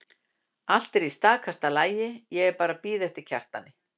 Allt er í stakasta lagi, ég er bara að bíða eftir Kjartani.